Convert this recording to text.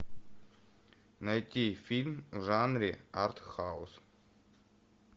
найти фильм в жанре артхаус